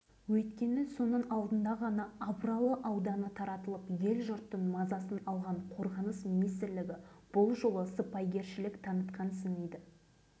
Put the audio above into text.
ал адамдарын басқа жаққа көшіріп әскери тарапынан шығын шығарғанша сол жерде қалдыра салғанды дұрыс деп